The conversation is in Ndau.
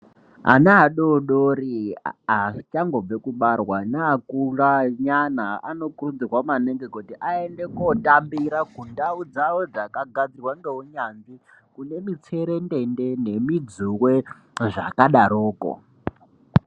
Ana adodori achangobve kubarwa neakura nyana anokurudzirwa maningi kuti aende kotambira kundau dzawo dzakagadzirwa nounyanzvi kune mitserendende nemidzuwe zvakadaroko.